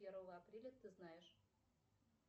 первого апреля ты знаешь